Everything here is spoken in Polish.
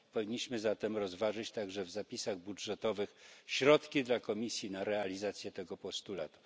Powinniśmy zatem rozważyć także w zapisach budżetowych środki dla komisji na realizację tego postulatu.